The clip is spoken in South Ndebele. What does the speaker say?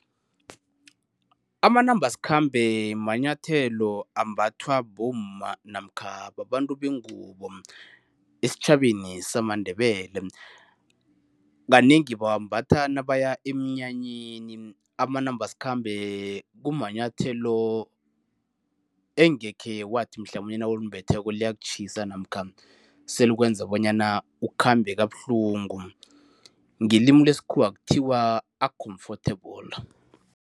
Amanambasikhambe manyathelo ambathwa bomma namkha babantu bengubo, esitjhabeni samaNdebele. Kanengi bawambatha nabaya emnyanyeni. Amanambasikhambe kumanyathelo engekhe wathi mhlamunye nawulimbetheko liyakutjhisa namkha selikwenza bonyana ukhambe kabuhlungu. Ngelimi lesikhuwa kuthiwa a-comfortable.